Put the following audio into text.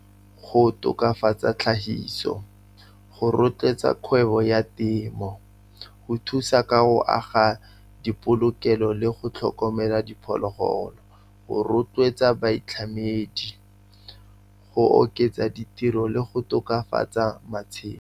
Go tokafatsa tlhahiso, go rotloetsa kgwebo ya temo, go thusa ka go aga dipolokelo le go tlhokomela diphologolo, go rotloetsa boitlhamedi, go oketsa ditiro le go tokafatsa matshelo.